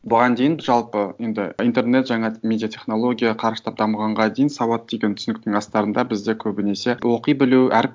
бұған дейін жалпы енді интернет жаңа медиатехнология қарыштап дамығанға дейін сауат деген түсініктің астарында бізде көбінесе оқи білу әріп